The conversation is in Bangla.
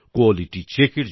quality check